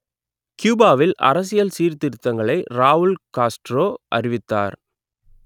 கியூபாவில் அரசியல் சீர்திருத்தங்களை ராவுல் காஸ்ட்ரோ அறிவித்தார்